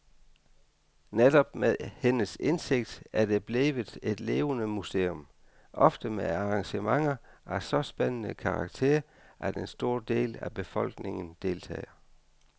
Netop med hendes indsigt er det blevet et levende museum, ofte med arrangementer af så spændende karakter, at en stor del af befolkningen deltager.